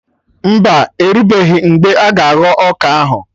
Mba, orubeghi mgbe a ga-aghọ ọka ahụ